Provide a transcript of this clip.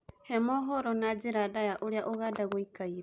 he mohoro na njĩra ndaya uria ũganda guikaire